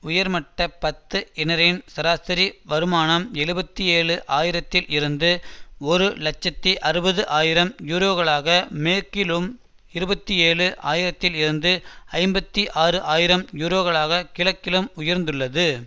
உயர்மட்ட பத்து இனரின் சராசரி வருமானம் எழுபத்தி ஏழு ஆயிரத்தில் இருந்து ஒரு இலட்சத்தி அறுபது ஆயிரம் யூரோகளாக மேற்கிலும் இருபத்தி ஏழு ஆயிரத்தில் இருந்து ஐம்பத்தி ஆறு ஆயிரம் யூரோகளாகக் கிழக்கிலும் உயர்ந்துள்ளது